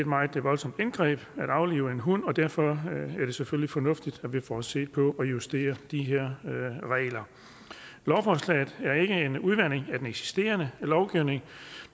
meget voldsomt indgreb at aflive et hund og derfor er det selvfølgelig fornuftigt at vi får set på og justeret de her regler lovforslaget er ikke en udvanding af den eksisterende lovgivning